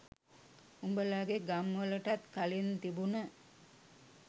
උඹලගෙ ගම් වලටත් කලින් තිබුන